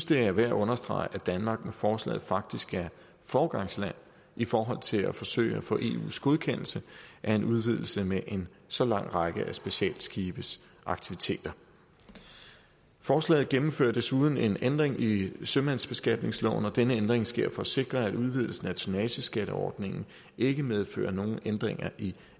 det er værd at understrege at danmark med forslaget faktisk er foregangsland i forhold til at forsøge at få eus godkendelse af en udvidelse med en så lang række af specialskibes aktiviteter forslaget gennemfører desuden en ændring i sømandsbeskatningsloven og denne ændring sker for at sikre at udvidelsen af tonnageskatteordningen ikke medfører nogen ændringer i